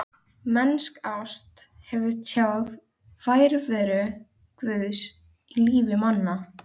Mennsk ást getur tjáð nærveru Guðs í lífi manna.